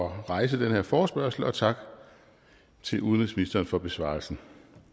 at rejse den her forespørgsel og tak til udenrigsministeren for besvarelsen